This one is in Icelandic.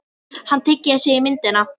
Hann teygði sig í myndina.